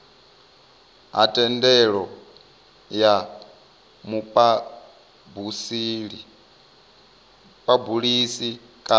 ha thendelo ya muphabulisi kana